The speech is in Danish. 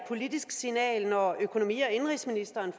politisk signal når økonomi og indenrigsministeren